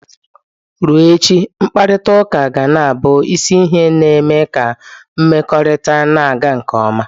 Ruo echi, mkparịta uka ga na-abụ isi ihe na-eme ka mmekọrịta na-aga nke ọma.